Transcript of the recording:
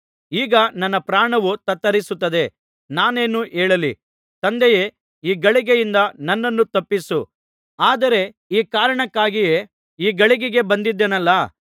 ಈಗ ನನ್ನ ಪ್ರಾಣವು ತತ್ತರಿಸುತ್ತಿದೆ ನಾನೇನು ಹೇಳಲಿ ತಂದೆಯೇ ಈ ಗಳಿಗೆಯಿಂದ ನನ್ನನ್ನು ತಪ್ಪಿಸು ಆದರೆ ಈ ಕಾರಣಕ್ಕಾಗಿಯೇ ಈ ಗಳಿಗೆಗೆ ಬಂದಿದ್ದೇನಲ್ಲಾ